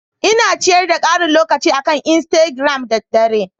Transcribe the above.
Ina ciyar da karin lokaci akan Instigiram da dare.